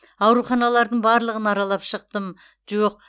аруханалардың барлығын аралап шықтым жоқ